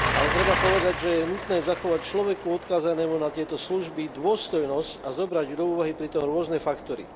Ale treba povedať, že je nutné zachovať človeku odkázanému na tieto služby dôstojnosť a zobrať do úvahy pri tom rôzne faktory.